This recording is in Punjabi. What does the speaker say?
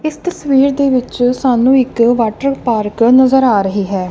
ਇੱਸ ਤਸਵੀਰ ਦੇ ਵਿੱਚ ਸਾਨੂੰ ਇੱਕ ਵਾਟਰਪਾਰਕ ਨਜ਼ਰ ਆ ਰਹੀ ਹੈ।